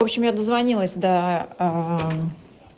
в общем я дозвонилась до